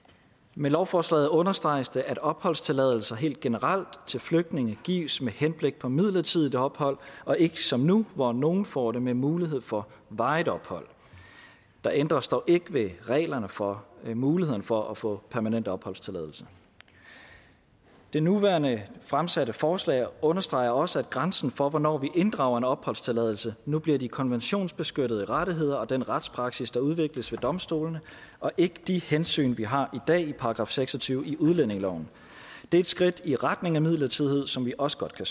med lovforslaget understreges det at opholdstilladelser helt generelt til flygtninge gives med henblik på midlertidigt ophold og ikke som nu hvor nogle får det med mulighed for varigt ophold der ændres dog ikke ved reglerne for muligheden for at få permanent opholdstilladelse det nuværende fremsatte forslag understreger også at grænsen for hvornår vi inddrager en opholdstilladelse nu bliver de konventionsbeskyttede rettigheder og den retspraksis der udvikles ved domstolene og ikke de hensyn vi har i dag i § seks og tyve i udlændingeloven det er et skridt i retning af midlertidighed som vi også godt kan